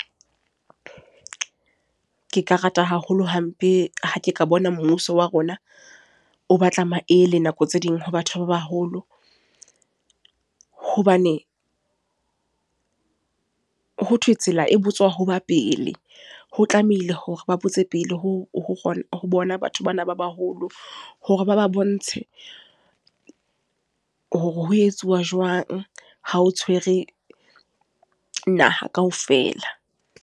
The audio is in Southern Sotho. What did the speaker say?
Ke ka rata haholo hampe, ha ke ka bona mmuso wa rona, o batla maele nako tse ding ho batho ba baholo. Hobane, ho thwe tsela e botswa ho ba pele. Ho tlamehile hore ba botse pele ho bona batho bana ba baholo. Hore ba ba bontshe, hore ho etsuwa jwang ha o tshwere naha kaofela.